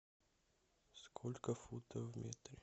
сколько футов в метре